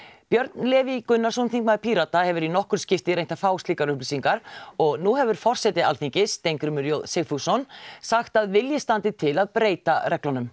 Björn Leví Gunnarsson þingmaður Pírata hefur í nokkur skipti reynt að fá slíkar upplýsingar og nú hefur forseti Alþingis Steingrímur j Sigfússon sagt að vilji standi til að breyta reglunum